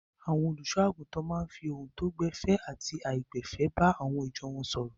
Àwọn olùṣọ́-àgùntàn máa ń fi ohun tó gbẹ̀fẹ̀ àti aláìgbẹ̀fẹ̀ bá ìjọ wọn sọ̀rọ̀.